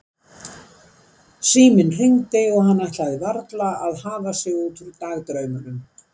Síminn hringdi og hann ætlaði varla að hafa sig út úr dagdraumunum.